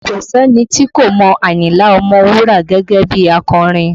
Kò sí ẹni tí kò mọ Ayinla Ọmọwura gẹ́gẹ́ bí akọrin